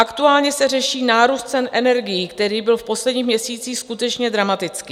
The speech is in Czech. Aktuálně se řeší nárůst cen energií, který byl v posledních měsících skutečně dramatický.